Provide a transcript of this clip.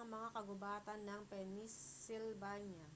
ang mga kagubatan ng pennsylvania